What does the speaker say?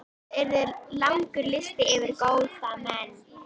Það yrði langur listi yfir góða menn.